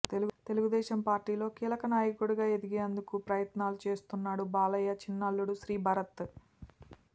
తెలుగుదేశం పార్టీలో కీలక నాయకుడిగా ఎదిగేందుకు ప్రయత్నాలు చేస్తున్నాడు బాలయ్య చిన్నల్లుడు శ్రీభరత్